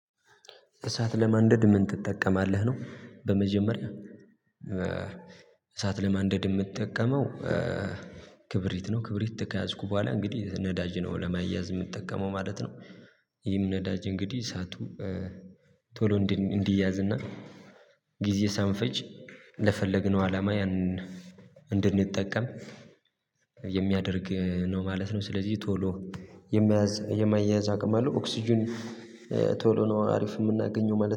እሳት ለማንደድ ምን ትጠቀማለህ? ነው በመጀመሪያ እሳት ለማንደድ የምትጠቀመው ክብሪት ነው ክብሪት ከያዝኩ በኋላ እንግዲህ ነዳጅ ነው ለማያዝ የምትጠቀመው ማለት ነው ይህም ነዳጅ እንግዲህ እሳቱ ቶሎ እንዲያዝ እና ጊዜ ሳንፈጅ ለፈለግነው አላማ ያንን እንድንጠቀም የሚያደርግ ነው ማለት ነው ስለዚህ ቶሎ የመያዝ የማያያዝ አቅም አለው ኦክስጅን ቶሎ ነው አሪፍ የምናገኘው ማለት ነው